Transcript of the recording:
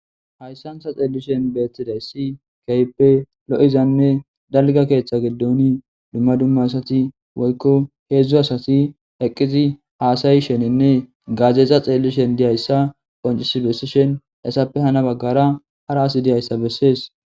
hayssan ta xeellishen beetidayssi keyppe lo'izanne dalga keeththa gidooni dumma dumma asati woykko heedzdzu asati eqqizi haasayishenenne gaazeeza xeellishen diyayssa qoncis bessishen essappe hana baggara hara asi diyayssa bessees